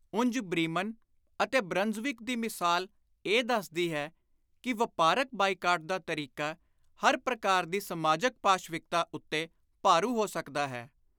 . ਉਂਝ ਬ੍ਰੀਮਨ ਅਤੇ ਬ੍ਰਨਜ਼ਵਿਕ ਦੀ ਮਿਸਾਲ ਇਹ ਦੱਸਦੀ ਹੈ ਕਿ ਵਾਪਾਰਕ ਬਾਈਕਾਟ ਦਾ ਤਰੀਕਾ ਹਰ ਪ੍ਰਕਾਰ ਦੀ ਸਮਾਜਕ ਪਾਸ਼ਵਿਕਤਾ ਉੱਤੇ ਭਾਰੂ ਹੋ ਸਕਦਾ ਹੈ।